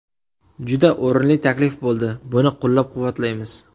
Juda o‘rinli taklif bo‘ldi, buni qo‘llab-quvvatlaymiz.